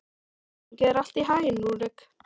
Gangi þér allt í haginn, Rúrik.